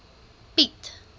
piet